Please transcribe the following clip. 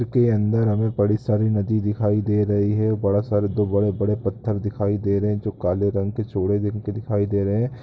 के अंदर हमें बड़ी सारी नदी दिखाई दे रही है बड़ा सारा दो बड़े-बड़े पत्थर दिखाई दे रहे है जो काले रंग के चौड़े जिनपे दिखाई दे रहे है।